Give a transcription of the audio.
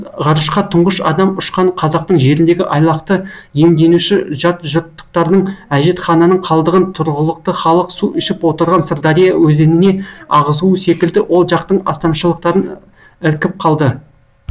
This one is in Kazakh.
ғарышқа тұңғыш адам ұшқан қазақтың жеріндегі айлақты иемденуші жатжұрттықтардың әжетхананың қалдығын тұрғылықты халық су ішіп отырған сырдария өзеніне ағызуы секілді ол жақтың астамшылықтарын іркіп қалды